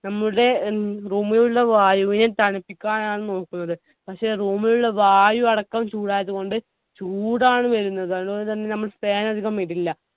നമ്മുടെ ഉം room ഇലുള്ള വായുവിനെ തണുപ്പിക്കാനാണ് നോക്കുന്നത് പക്ഷെ room ലുള്ള വായു അടക്കം ചൂടായതുകൊണ്ട് ചൂടാണ് വരുന്നത് അതുകൊണ്ട്തന്നെ നമ്മൾ fan അതികം ഇടില്ല